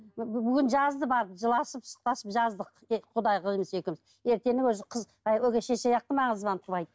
бүгін жазды барып жыласып сықтасып жаздық тек құдағиымыз екеуміз өгей шеше